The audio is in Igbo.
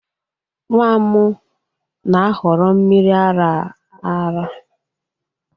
Nwa m na-ahọrọ mmiri ara ara